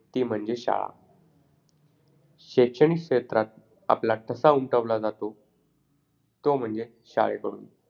चंद्रावरच्या शाळेत पोळी भाजीच्या डब्याची राहणार नाही कटकट.